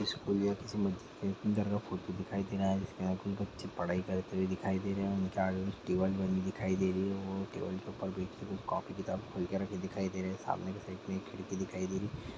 School या किसी मस्जिद के अंदर का फोटो दिखाई दे रहा है जिसके अंदर कुछ बच्चे पढ़ाई करते हुए दिखाई दे रहे है उनके आगे में टेबल बनी दिखाई दे रही है वो टेबल के ऊपर बैठ के वो कॉपी - किताबे खोल के रखे दिखाई दे रहे है सामने की साइड में एक खिड़की दिखाई दे रही।